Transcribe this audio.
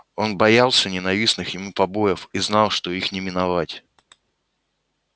он боялся ненавистных ему побоев и знал что их не миновать